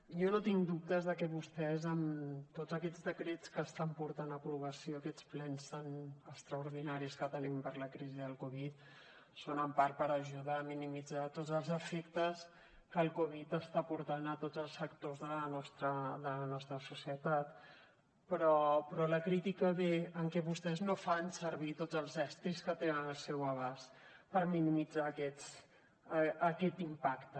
jo no tinc dubtes de que vostès amb tots aquests decrets que estan portant a aprovació en aquests plens tan extraordinaris que tenim per la crisi de la covid són en part per ajudar a minimitzar tots els efectes que la covid està portant a tots els sectors de la nostra societat però la crítica ve perquè vostès no fan servir tots els estris que tenen al seu abast per minimitzar aquest impacte